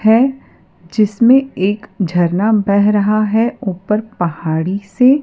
हैं जिसमें एक झरना बह रहा है ऊपर पहाड़ी से।